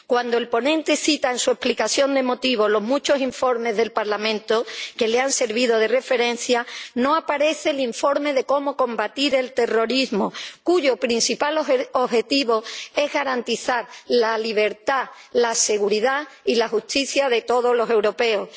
Cuando el ponente cita en su exposición de motivos los numerosos informes del Parlamento que le han servido de referencia, no aparece el informe sobre la lucha contra el terrorismo, cuyo principal objetivo es garantizar la libertad, la seguridad y la justicia de todos los europeos.